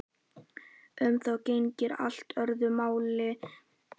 Um þá gegnir allt öðru máli.